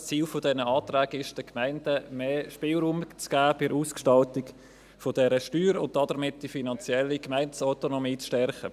Ziel dieser Anträge ist es, den Gemeinden bei der Ausgestaltung dieser Steuer mehr Spielraum zu geben und damit die finanzielle Gemeindeautonomie zu stärken.